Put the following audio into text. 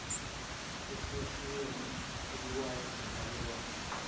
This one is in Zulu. eyahlukahlukene ebukwayo nelalelwayo